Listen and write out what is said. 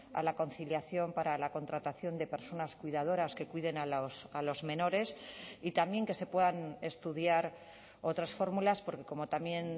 a la conciliación para la contratación de personas cuidadoras que cuiden a los menores y también que se puedan estudiar otras fórmulas porque como también